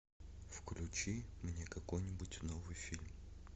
включи мне какой нибудь новый фильм